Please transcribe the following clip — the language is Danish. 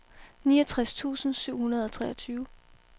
niogtres tusind syv hundrede og treogtyve